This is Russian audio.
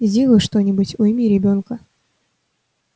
сделай что-нибудь уйми ребёнка